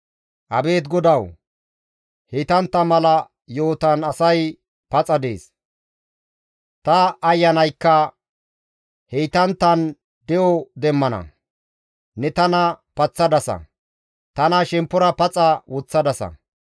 Abeet Godawu heytantta mala yo7otan asay paxa dees. Ta ayanaykka heytanttan de7o demmana. Ne tana paththadasa, tana shemppora paxa woththadasa!